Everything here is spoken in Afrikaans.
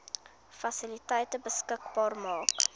fasiliteite beskikbaar maak